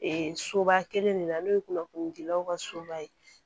soba kelen de la n'o ye kunnafoni dilaw ka soba ye